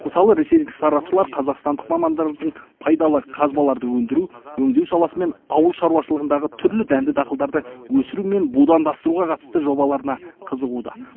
мысалы ресейлік сарапшылар қазақстандық мамандардың пайдалы қазбаларды өндіру өңдеу саласы мен ауыл шаруашылығындағы түрлі дәнді дақылдарды өсіру мен будандастыруға қатысты жобаларына қызығуда